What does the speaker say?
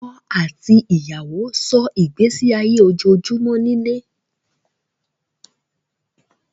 Ọkọ̀ àti ìyàwó sọ́ ìgbésí ayé ojoojúmọ́ nílé